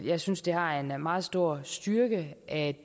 jeg synes det har en meget stor styrke at